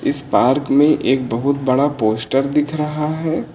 इस पार्क में एक बहुत बड़ा पोस्टर दिख रहा है।